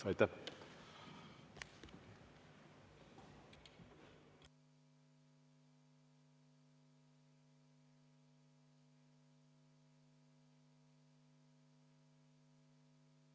V a h e a e g